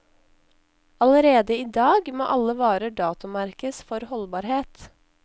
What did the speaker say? Allerede i dag må alle varer datomerkes for holdbarhet.